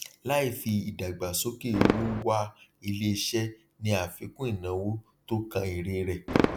láìfi ìdàgbàsókè owó wá iléiṣẹ ní àfikún ìnáwó tó kan èrè rẹ